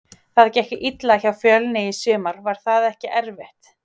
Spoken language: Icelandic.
Það gekk illa hjá Fjölni í sumar, var það ekki erfitt?